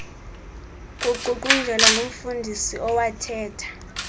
kuququnjelwa ngumfundisi owathetha